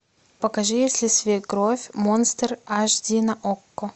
покажи если свекровь монстр аш ди на окко